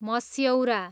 मस्यौरा